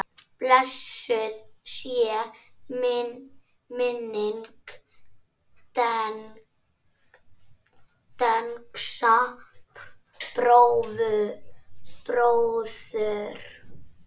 Blessuð sé minning Dengsa bróður.